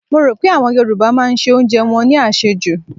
Mo rò pé àwọn Yorùbá máa se oúnjẹ wọn ní àsèjù.